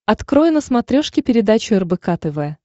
открой на смотрешке передачу рбк тв